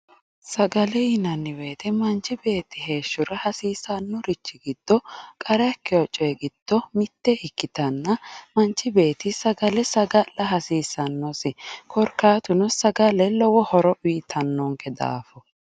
sagale yinanni woyte manchi beetti heeshshora hasiissannorichi giddo qarra ikkewo coy giddo mitte ikkitanna manchi beetti sagale saga'la hasiisannosi korkaatuno, sagale lowo horo uytannonke daafo.